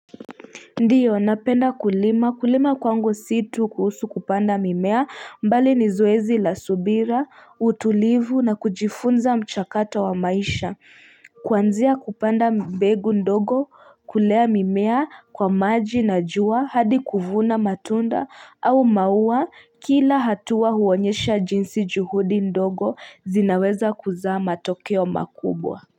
Ndiyo napenda kulima kulima kwangu si tu kuhusu kupanda mimea bali ni zoezi la subira utulivu na kujifunza mchakato wa maisha kuanzia kupanda mbegu ndogo kulea mimea kwa maji na jua hadi kuvuna matunda au maua kila hatua huonyesha jinsi juhudi ndogo zinaweza kuzaa matokeo makubwa.